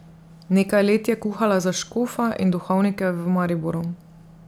Nekaj let je kuhala za škofa in duhovnike v Mariboru.